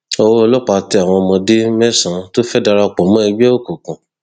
owó ọlọpàá tẹ àwọn ọmọdé mẹsànán tó fẹẹ darapọ mọ ẹgbẹ òkùnkùn